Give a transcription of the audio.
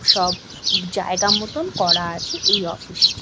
সব জায়গা মতন করা আছে এই অফিস টি।